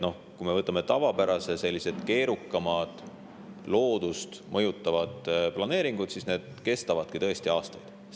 Kui me võtame tavapärasest keerukamad, ka loodust mõjutavad planeeringud, siis need kestavadki tõesti aastaid.